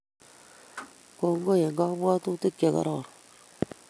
Kongoi eng kabwatutik chegororon